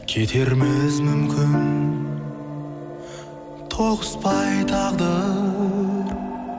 кетерміз мүмкін тоғыспай тағдыр